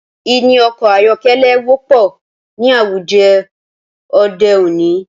Níní ọkọ̀ ayọ́kẹ́lẹ́ wọ́pọ̀ ní àwùjọ òde òní.